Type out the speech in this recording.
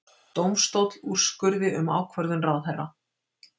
Dómstóll úrskurði um ákvörðun ráðherra